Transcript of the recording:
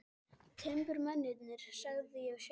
Timburmennirnir, sagði ég við sjálfan mig.